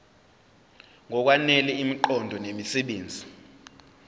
ngokwanele imiqondo nemisebenzi